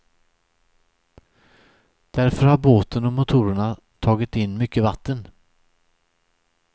Därför har båten och motorerna tagit in mycket vatten.